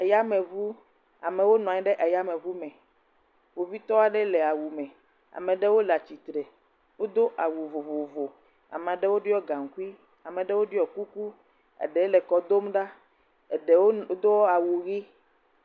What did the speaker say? Yameŋu, amewo nɔ anyi ɖe eyameŋu me, kpovitɔ aɖe le awu me, ame ɖewo le atsitre, wodo awu vovovovo, ame ɖewo ɖɔ gaŋkui, ame ɖewo ɖɔ kuku, eɖe le kɔ dom ɖa, eɖewo do awu ʋi.